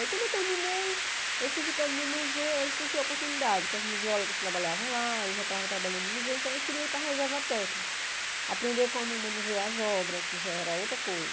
Aí quando eu terminei, eu fui ficando no museu, aí surgiu a oportunidade, porque as museólogas trabalhavam lá, eu já estava trabalhando no museu, então eu queria ir para a reserva técnica, aprender como manusear as obras, que já era outra coisa.